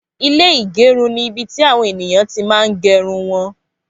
Ilé igerun ni ibi ti àwọn ènìyàn mà n ti gerun wọn